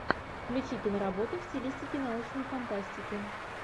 включи киноработу в стилистике научной фантастики